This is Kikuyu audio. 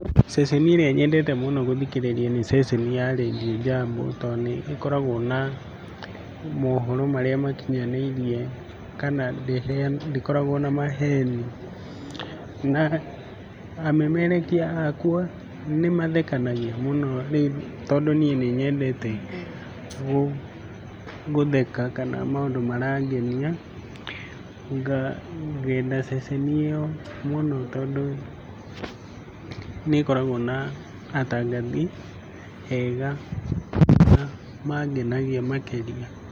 Ceceni ĩrĩa nyendete mũno gũthikĩrĩria nĩ ceceni ya Radio Jambo, tondũ nĩĩkoragwo na mohoro marĩa makinyanĩirie kana ndĩkoragwo na maheni, na amemerekia akwa nĩmathekanagia mũno rĩu tondũ niĩ nĩnyendete gũtheka kana maũndũ marangenia, ngenda ceceni ĩyo mũno tondũ nĩ ĩkoragwo na atangathi ega na mangenagia makĩria.